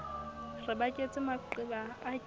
re baketse maqeba a ke